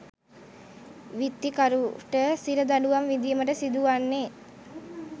විත්තිකරුට සිර දඬුවම් විඳීමට සිදු වන්නේ